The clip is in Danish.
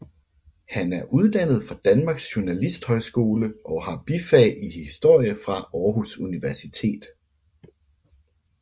Han er uddannet fra Danmarks Journalisthøjskole og har bifag i historie fra Aarhus Universitet